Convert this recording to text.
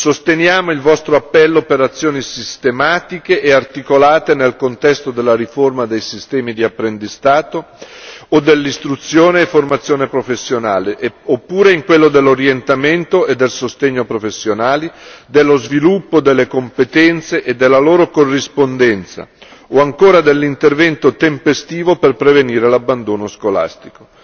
Sosteniamo il vostro appello per azioni sistematiche e articolate nel contesto della riforma dei sistemi di apprendistato o dell'istruzione e formazione professionale, oppure in quello dell'orientamento e del sostegno professionali, dello sviluppo delle competenze e della loro corrispondenza, o ancora dell'intervento tempestivo per prevenire l'abbandono scolastico.